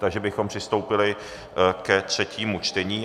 Takže bychom přistoupili ke třetímu čtení.